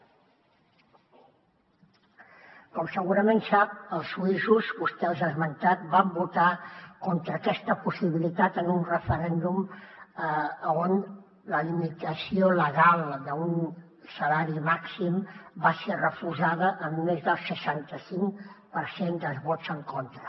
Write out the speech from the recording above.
com segurament sap els suïssos vostè els ha esmentat van votar contra aquesta possibilitat en un referèndum on la limitació legal d’un salari màxim va ser refusada amb més del seixanta cinc per cent dels vots en contra